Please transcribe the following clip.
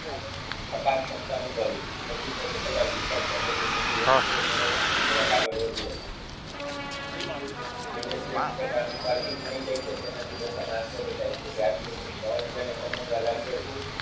અપાકક્ષમતા અનુભવી પછી તો તે પુરા વિશ્વાસ સાથે કોઈ મોટી વસ્તુઓ મેળવવા જરાક આગળ વધ્યો. મને જે રીતે કારનું પાર્કિંગ મળી જાય છે તેનાથી લોકોને આશ્ચર્ય થાય છે. ત્યારથી હું રહસ્યને સમજવા લાગ્યો છું.